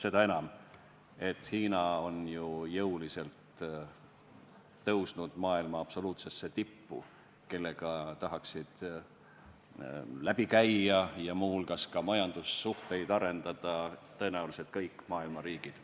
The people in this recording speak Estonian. Seda enam, et Hiina on ju jõuliselt tõusnud maailma absoluutsesse tippu, kellega tahaksid läbi käia ja muu hulgas ka majandussuhteid arendada tõenäoliselt kõik maailma riigid.